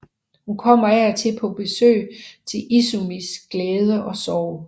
Hun kommer af og til på besøg til Izumis glæde og sorg